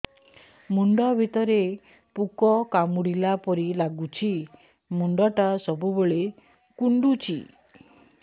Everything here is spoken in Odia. ମୁଣ୍ଡ ଭିତରେ ପୁକ କାମୁଡ଼ିଲା ପରି ଲାଗୁଛି ମୁଣ୍ଡ ଟା ସବୁବେଳେ କୁଣ୍ଡୁଚି